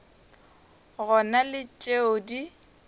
go na le tšeo di